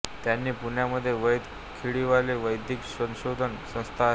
त्यांची पुण्यामध्ये वैद्य खडीवाले वैद्यक संशोधन संस्था आहे